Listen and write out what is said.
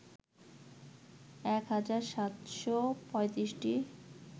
১ হাজার ৭৩৫টি